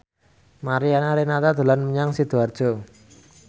Mariana Renata dolan menyang Sidoarjo